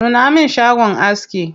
Nuna min shagon aski.